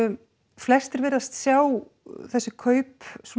flestir virðast sjá þessi kaup